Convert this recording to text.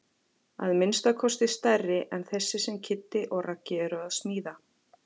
Að minnsta kosti stærri en þessi sem Kiddi og Raggi eru að smíða.